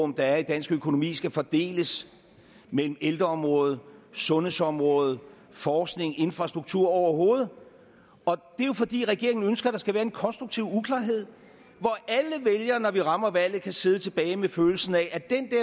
der er i dansk økonomi skal fordeles mellem ældreområdet sundhedsområdet forskning infrastruktur overhovedet det er jo fordi regeringen ønsker at der skal være konstruktiv uklarhed hvor alle vælgere når vi rammer valget kan sidde tilbage med følelsen af at den